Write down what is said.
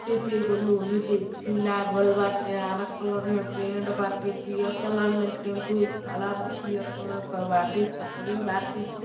ते पे एगो लोहे के ची लागल बाटे। हरा कलर में पेंट बाटे। पियर कलर में टेम्पो खड़ा बा। पियर कलर क बाटे। छतरी बाटे।